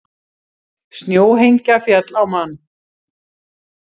Snjóhengja féll á mann